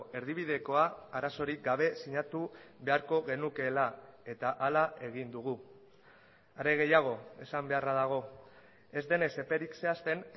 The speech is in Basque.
erdibidekoa arazorik gabe sinatu beharko genukeela eta hala egin dugu are gehiago esan beharra dago ez denez eperik zehazten